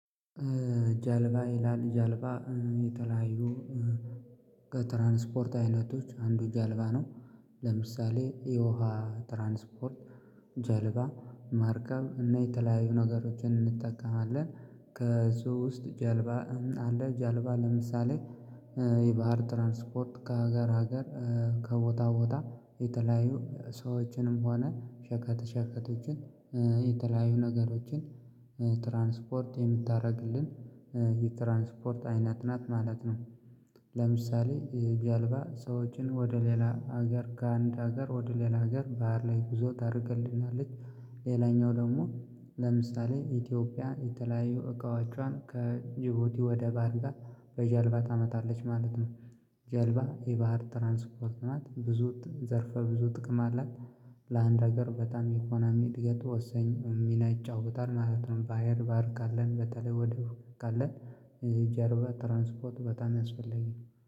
ጃልባ ይላል ጃልባ የተለያዩ ከትራንስፖርት አይነቶች አንዱ ጃልባ ነው። ለምሳሌ የውሃ ትራንስፖርት ጀልባ ማርከብ እና የተለያዩ ነገሮችን እንጠቀማለን። ከሶስት ጀልባ አለ ጀልባ ለምሳሌ የባህር ትራንስፖርት ከሀገር ሀገር ከቦታ ቦታ የተለያዩ ሰዎችንም ሆነ ሸከት ሸከቾችን የተለያዩ ነገሮችን ትራንስፖርት የምታረግልን የትራንስፖርት አይነት ናት ማለት ነው። ለምሳሌ ጀልባ ሰዎችን ወደ ሌላ ሀገር ካንድ ሀገር ወደ ሌላ ሀገር ባህር ላይ ጉዞ ታደርግልናለች። ሌላኛው ደግሞ ለምሳሌ ኢትዮጵያ የተለያዩ እቃዎቿን ከጅቡቲ ወደ ባልጋ በጀልባ ታመጣለች ማለት ነው። ጀልባ የባህር ትራንስፖርት ማለት ብዙ ዘርፈ ብዙ ጥቅም አላት። ለአንድ ሀገር በጣም ኢኮኖሚ እድገት ወሳኝ ሚና ይጫወታል ማለት ባህር በር ካለን በተለይ ወደቡ ካለን የጀርባ ትራንስፖርት በጣም ያስፈለልጋ